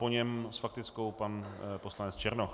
Po něm s faktickou pan poslanec Černoch.